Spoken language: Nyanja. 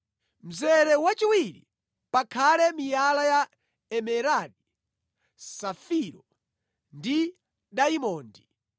Mzere wachiwiri pakhale miyala ya emeradi, safiro ndi dayimondi;